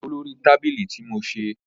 Joko lori tabili ti mo ṣe